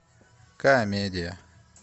комедия